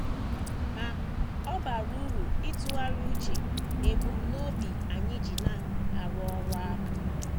Ma, ọ bara uru ịtụgharị uche n’ebumnobi anyị ji na - arụ ọrụ ahụ.